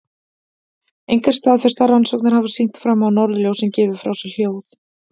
Engar staðfestar rannsóknir hafa sýnt fram á að norðurljósin gefi frá sér hljóð.